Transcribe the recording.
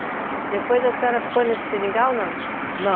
Depois a senhora ficou nesse seringal ou não? Na